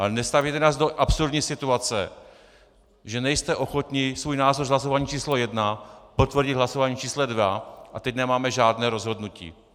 Ale nestavějte nás do absurdní situace, že nejste ochotni svůj názor z hlasování číslo 1 potvrdit hlasováním číslo 2, a teď nemáme žádné rozhodnutí.